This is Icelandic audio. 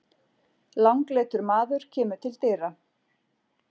Langleitur maður kemur til dyra.